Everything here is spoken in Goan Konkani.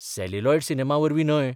सॅल्युलॉयड सिनेमावरवीं न्हय.